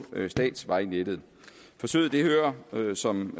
statsvejnettet forsøget hører som